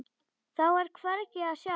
Þá er hvergi að sjá.